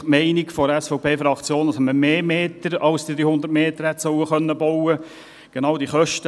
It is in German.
Die Meinung der SVP-Fraktion lautet, dass man damit mehr als diese 100 Meter Zaun bauen können sollte.